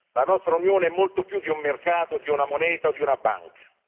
La nostra Unione è molto più di un mercato, di una moneta o di una banca.